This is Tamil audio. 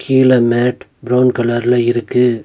கீழ மேட் பிரவுன் கலர்ல இருக்கு.